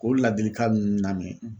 K'o ladilikan ninnu lamɛ